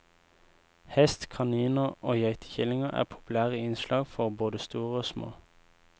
Hest, kaniner og geitekillinger er populære innslag for både store og små.